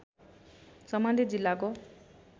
सम्बन्धित जिल्लाको